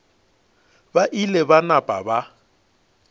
ba ile ba napa ba